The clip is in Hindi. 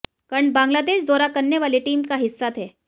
कर्ण बांग्लादेश दौरा करने वाली टीम का हिस्सा थे